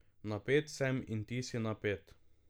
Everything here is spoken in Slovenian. Napet sem in ti si napet.